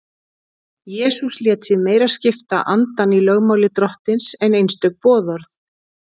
Jesús lét sig meira skipta andann í lögmáli Drottins en einstök boðorð.